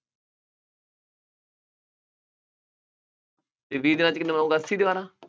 ਅਤੇ ਵੀਹ ਦਿਨਾਂ ਵਿੱਚ ਕਿੰਨੀਆਂ ਬਣਾਊਗਾ, ਅੱਸੀ ਦੀਵਾਰਾਂ।